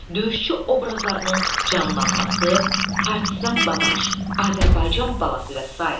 Döyüşçü obrazlarının canlanması, Partisan Babaş, Azərbaycan balası və sair.